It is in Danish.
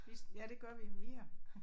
Vi ja det gør vi mere